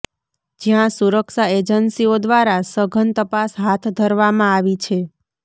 જયાં સુરક્ષા એજન્સીઓ દ્વારા સઘન તપાસ હાથ ધરવામાં આવી છે